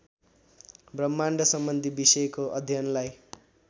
ब्रह्माण्डसम्बन्धी विषयको अध्ययनलाई